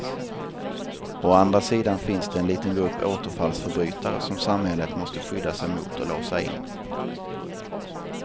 Å andra sidan finns det en liten grupp återfallsförbrytare som samhället måste skydda sig mot och låsa in.